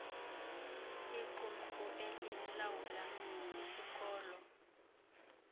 iqumrhu elilawula isikolo